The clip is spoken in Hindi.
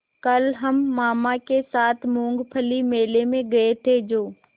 कल हम मामा के साथ मूँगफली मेले में गए थे जो